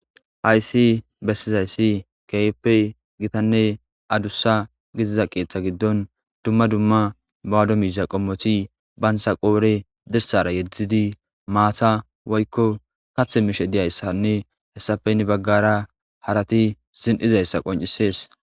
hayssi bessizayssi keyeppey gitanne adussa gitiza qeeththa giddon dumma dumma bawado miiza qommoti bayntsa qoore dirsara yeddzidi maata woykko kathe mishe diyayssanne hessafenni baggara harati zin7izayssa qoncisees